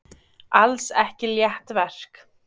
Alls ekki létt verk